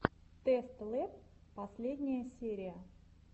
тэст лэб последняя серия